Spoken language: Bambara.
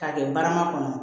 K'a kɛ barama kɔnɔ